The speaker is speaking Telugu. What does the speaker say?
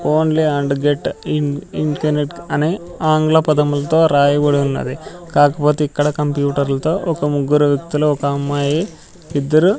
only and gate in in ఇంకనెక్ట్ అనే ఆంగ్ల పదములతో రాయబడి ఉన్నది కాకపొతే ఇక్కడ కంప్యూటర్ లతో ఒక ముగ్గురు వ్యక్తులు ఒక అమ్మాయి ఇద్దరు --